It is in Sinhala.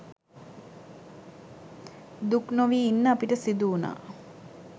දුක්නොවී ඉන්න අපිට සිදු‍වුණා.